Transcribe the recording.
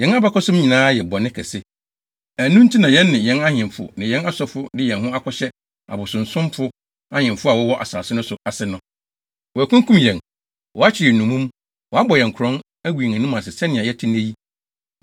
Yɛn abakɔsɛm nyinaa yɛ bɔne kɛse. Ɛno nti na yɛn ne yɛn ahemfo ne yɛn asɔfo de yɛn ho akɔhyɛ abosonsomfo ahemfo a wɔwɔ asase no so ase no. Wɔakunkum yɛn, wɔakyere yɛn nnommum, wɔabɔ yɛn korɔn, agu yɛn anim ase sɛnea yɛte nnɛ yi